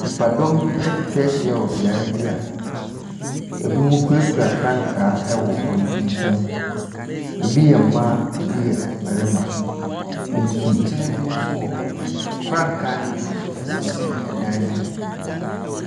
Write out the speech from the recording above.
Nnipadɔm bi atwa ahyia wɔ beaeɛ bi a ebinom kurakura frankaa wɔ wɔn nsam. Ebi yɛ mmaa, ebi yɛ mmarima. Nsutene bi nso wɔ hɔ. Frankaa no bi nso sensɛn ɛdan no ho.